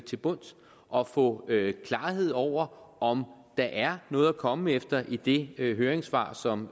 til bunds og få klarhed over om der er noget at komme efter i det høringssvar som